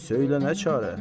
Söylənə çarə?